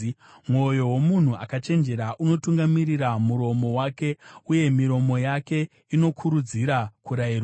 Mwoyo womunhu akachenjera unotungamirira muromo wake, uye miromo yake inokurudzira kurayirwa.